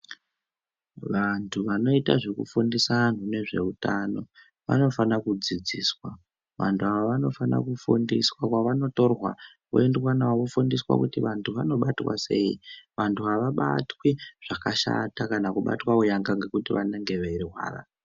Vantu vanoita zvekufundisa antu nezveutano vanofana kudzidziswa. Vantu ava vanofana kufundiswa kwavanotorwa voendwa navo vofundiswa kuti vantu vanobatwa sei. Vantu havabatwi zvakashata kana kubatwa unyanga ngekuti vanenge veirwara.